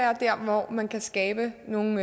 er der hvor man kan skabe nogle